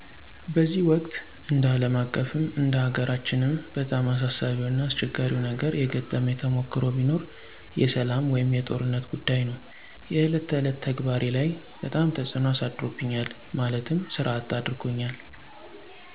በዚህ ወቅት እንደ አለም አቀፍም እንደ ሀገራችንም በጣም አሳሳቢው እና አስቸጋሪው ነገር የገጠመኝ ተሞክሮ ቢኖር የሰላም ወይም የጦርነት ጉዳይ ነው። የእለት ተዕለት ተግባሬ ላይ በጣም ተፅዕኖ አሳድሮብኛል ማለትም ሥራ አጥ አድርጎኛል።